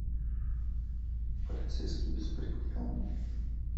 полицейский беспредел